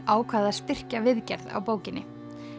ákvað að styrkja viðgerð á bókinni